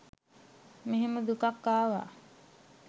මෙහෙම දුකක් ආව.